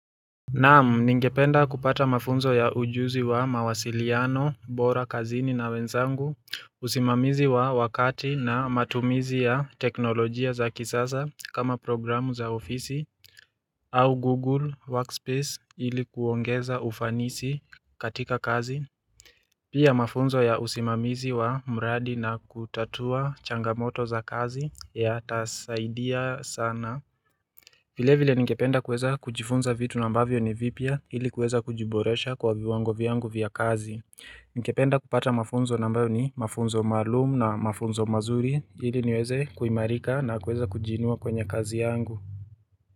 Naam, ningependa kupata mafunzo ya ujuzi wa mawasiliano bora kazini na wenzangu, usimamizi wa wakati na matumizi ya teknolojia za kisasa kama programu za ofisi au Google Workspace ili kuongeza ufanisi katika kazi. Pia mafunzo ya usimamizi wa mradi na kutatua changamoto za kazi yatasaidia sana. Vilevile ningependa kuweza kujifunza vitu ambavyo ni vipya ili kuweza kujiboresha kwa viwango vyangu vya kazi. Ningependa kupata mafunzo ambayo ni mafunzo maalum na mafunzo mazuri ili niweze kuimarika na kuweza kujiinua kwenye kazi yangu.